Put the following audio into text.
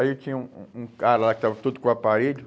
Aí tinha um um um cara lá que estava todo com o aparelho.